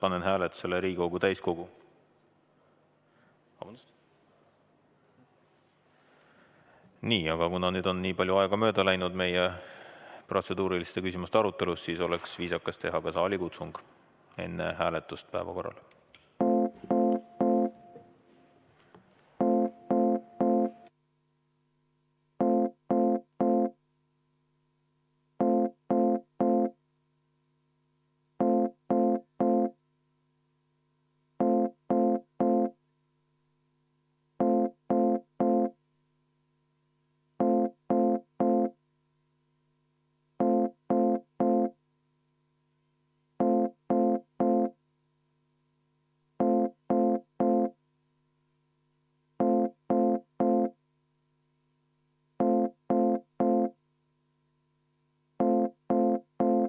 Aga kuna nüüd on protseduuriliste küsimuste aruteluga nii palju aega mööda läinud, siis oleks viisakas teha enne päevakorra hääletamist ka saalikutsung.